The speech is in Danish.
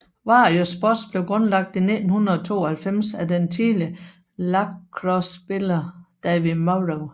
Warrior Sports blev grundlagt i 1992 af den tidligere lacrossespiller David Morrow